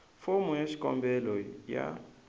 fomo ya xikombelo ya